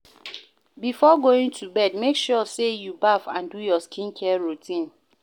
Before going to bed make sure say you baff and do your skin care routine